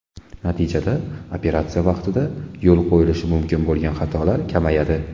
Natijada operatsiya vaqtida yo‘l qo‘yilishi mumkin bo‘lgan xatolar kamayadi.